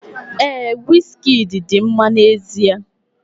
Ee, Wizkidi dị mma n'ezie.